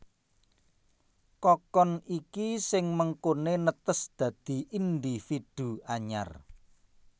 Kokon iki sing mengkoné netes dadi individu anyar